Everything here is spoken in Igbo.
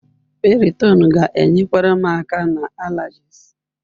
Piriton ga-enyekwara m aka na allergies.